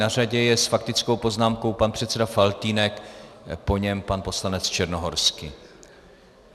Na řadě je s faktickou poznámkou pan předseda Faltýnek, po něm pan poslanec Černohorský.